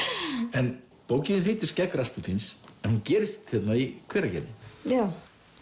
en bókin þín heitir skegg Raspútíns en hún gerist hérna í Hveragerði já